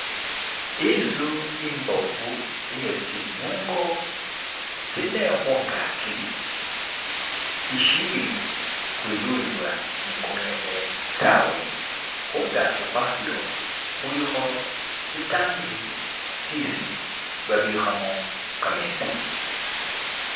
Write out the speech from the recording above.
inzu imbofu iye tsinungo tsine hungaki ishili hululibwa nikumuyehe tawe hungaki hwayo huliho sitangi sisi babihamo kametsi